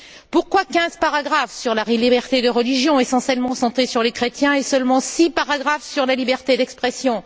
Pourquoi quinze paragraphes sur la liberté de religion, essentiellement centrés sur les chrétiens et seulement six paragraphes sur la liberté d'expression?